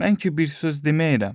Mən ki bir söz deməyirəm.